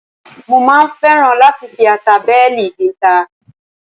Mo máa ń fẹ́ràn láti fi ata bẹ́ẹ̀lì dínta